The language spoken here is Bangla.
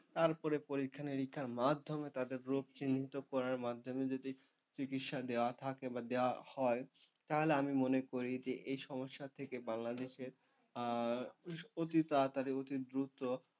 তারপরে পরীক্ষানিরীক্ষার মাধ্যমে তাদের রোগ চিহ্নিত করার মাধ্যমে যদি চিকিৎসা দেওয়া থাকে বা দেওয়া হয়, তাহলে আমি মনে করি যে এই সমস্যা থেকে বাংলাদেশের অতি তাড়াতাড়ি অতিদ্রুত,